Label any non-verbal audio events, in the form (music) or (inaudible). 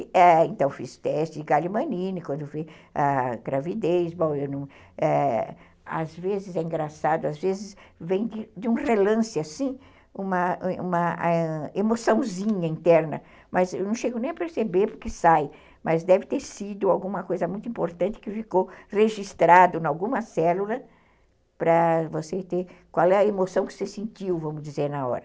É, então, fiz teste de galimanine quando vi a gravidez, (unintelligible) às vezes é engraçado, às vezes vem de um relance assim, uma emoçãozinha interna, mas eu não chego nem a perceber porque sai, mas deve ter sido alguma coisa muito importante que ficou registrado em alguma célula para você ter, qual é a emoção que você sentiu, vamos dizer, na hora.